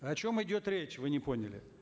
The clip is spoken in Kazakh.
о чем идет речь вы не поняли